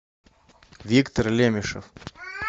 виктор лемишев